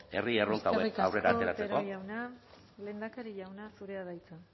herri erronka hauek aurrera ateratzeko eskerrik asko otero jauna lehendakari jauna zurea da hitza